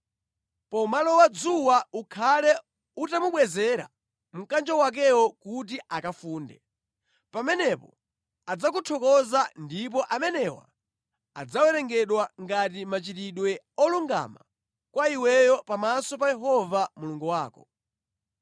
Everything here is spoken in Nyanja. Pomalowa dzuwa ukhale utamubwezera mkanjo wakewo kuti akafunde. Pamenepo adzakuthokoza, ndipo amenewa adzawerengedwa ngati machitidwe olungama kwa iweyo pamaso pa Yehova Mulungu wako.